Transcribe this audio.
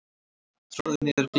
Troði niður gleðina.